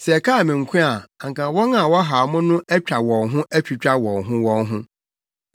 Sɛ ɛkaa me nko a anka wɔn a wɔhaw mo no atwa wɔn ho atwitwa wɔn ho wɔn ho.